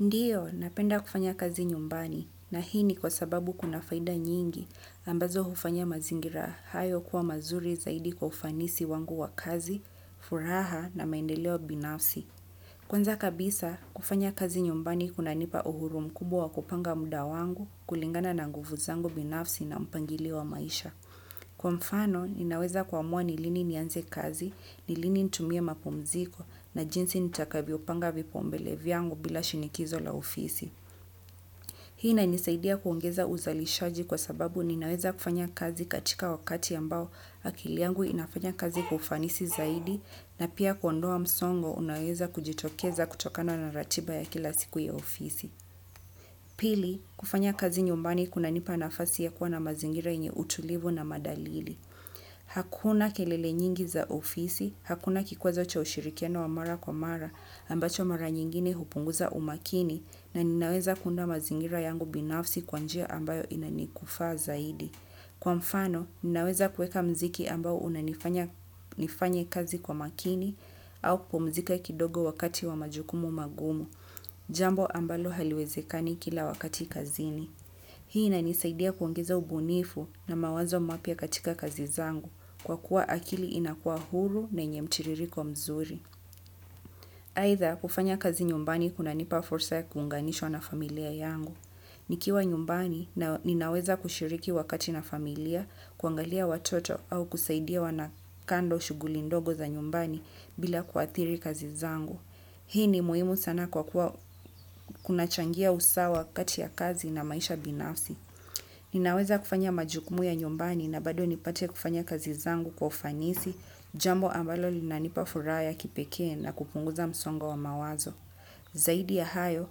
Ndiyo, napenda kufanya kazi nyumbani na hii ni kwa sababu kuna faida nyingi ambazo hufanya mazingira hayo kuwa mazuri zaidi kwa ufanisi wangu wa kazi, furaha na maendeleo binafsi. Kwanza kabisa, kufanya kazi nyumbani kuna nipa uhuru mkubwa wa kupanga mda wangu kulingana na nguvu zangu binafsi na mpangilio wa maisha. Kwa mfano, ninaweza kuamua nilini nianze kazi, nilini ntumie mapumziko na jinsi nitaka vyopanga vipau mbele vyangu bila shinikizo la ofisi. Hii inanisaidia kuongeza uzalishaji kwa sababu ninaweza kufanya kazi katika wakati ambao akili yangu inafanya kazi kwa ufanisi zaidi na pia kuondoa msongo unaoeza kujitokeza kutokano na ratiba ya kila siku ya ofisi. Pili, kufanya kazi nyumbani kuna nipa nafasi ya kuwa na mazingira yenye utulivu na madalili. Hakuna kelele nyingi za ofisi, hakuna kikwazo cha ushirikiano wa mara kwa mara ambacho mara nyingine hupunguza umakini na ninaweza kuunda mazingira yangu binafsi kwanjia ambayo inanikufaa zaidi. Kwa mfano, ninaweza kueka mziki ambao unanifanya nifanye kazi kwa makini au kupumzika kidogo wakati wa majukumu magumu, jambo ambalo haliwezekani kila wakati kazini. Hii inanisaidia kuongeza ubunifu na mawazo mapya katika kazi zangu kwa kuwa akili inakua huru na enye mtiririko mzuri. Aitha kufanya kazi nyumbani kuna nipa fursa ya kuunganishwa na familia yangu. Nikiwa nyumbani na ninaweza kushiriki wakati na familia kuangalia watoto au kusaidia wanakando shuguli ndogo za nyumbani bila kuathiri kazi zangu. Hii ni muhimu sana kwa kuwa kuna changia usawa kati ya kazi na maisha binafsi. Ninaweza kufanya majukumu ya nyumbani na bado nipate kufanya kazi zangu kwa ufanisi jambo ambalo lina nipa furaha ya kipekee na kupunguza msongo wa mawazo. Zaidi ya hayo,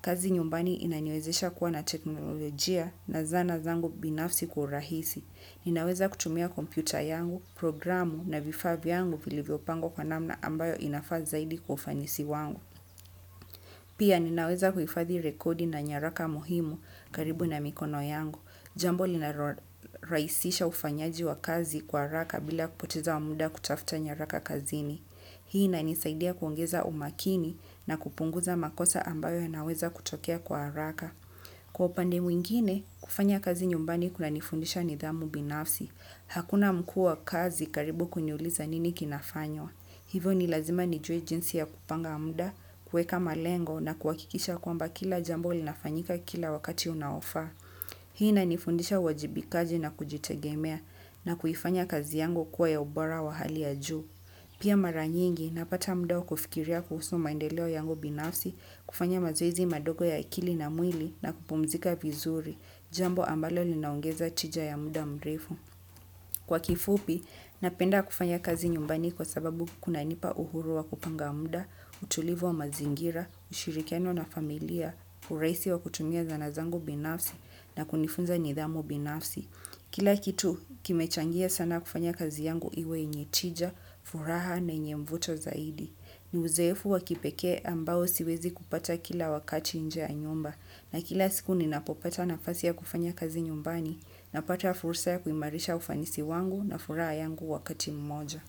kazi nyumbani inaniwezesha kuwa na teknolojia na zana zangu binafsi kwa urahisi. Ninaweza kutumia kompyuta yangu, programu na vifaa vyangu vilivyopangwa kwa namna ambayo inafaa zaidi kwa ufanisi wangu. Pia ninaweza kuhifadhi rekodi na nyaraka muhimu karibu na mikono yangu. Jambo linalo rahisisha ufanyaji wa kazi kwa raka bila kupoteza wa muda kutafuta nyaraka kazini. Hii inanisaidia kuongeza umakini na kupunguza makosa ambayo ya naweza kutokea kwa haraka. Kwa upande mwingine, kufanya kazi nyumbani kuna nifundisha nidhamu binafsi. Hakuna mkua kazi karibu kuniuliza nini kinafanywa. Hivyo ni lazima nijue jinsi ya kupanga muda, kueka malengo na kuhakikisha kwamba kila jambo linafanyika kila wakati unaofa. Hii inanifundisha uwajibikaji na kujitegemea na kuifanya kazi yangu kuwa ya ubora wa hali ya juu. Pia mara nyingi napata muda wa kufikiria kuhusu maendeleo yangu binafsi kufanya mazoezi madogo ya akili na mwili na kupumzika vizuri jambo linaongeza tija ya muda mreu. Kwa kifupi, napenda kufanya kazi nyumbani kwa sababu kuna nipa uhuru wa kupanga mda, utulivu wa mazingira, ushirikiano na familia, urahisi wa kutumia zanazangu binafsi na kunifunza nidhamu binafsi. Kila kitu, kimechangia sana kufanya kazi yangu iwe yenye tija, furaha na yenye mvuto zaidi. Ni uzeefu wakipekee ambao siwezi kupata kila wakati nje ya nyumba na kila siku ni napopata nafasi ya kufanya kazi nyumbani na pata fursa ya kuimarisha ufanisi wangu na furaha yangu wakati mmoja.